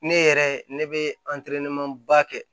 Ne yɛrɛ ne bɛ ba kɛ